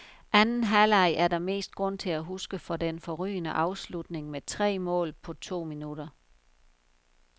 Anden halvleg er der mest grund til at huske for den forrygende afslutning med tre mål på to min.